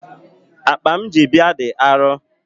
Akpa m ji bịa dị arọ.